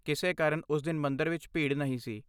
ਕਿਸੇ ਕਾਰਨ ਉਸ ਦਿਨ ਮੰਦਰ ਵਿਚ ਭੀੜ ਨਹੀਂ ਸੀ।